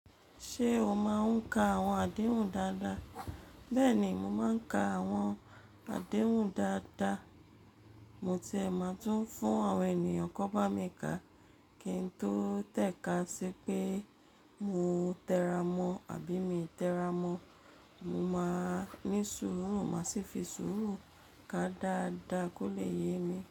Ṣé o máa ń ka àwọn àdéhùn dáadáa? Bẹ́ẹ̀ni, mo máa ń ka àwọn àdéhùn dáadáa. Mo tiẹ̀ máa tún fún àwọn ènìyàn kó bá mi kà. Kí n tó tẹ̀ka sí pé mo tẹ́ra mọ̀ àbí mi tẹ́ra mọ̀, mo máa ní sùúrù, máa sì fi sùúrù ká a dáadáa kó lè yé mi.